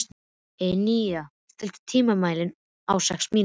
Einína, stilltu tímamælinn á sextíu mínútur.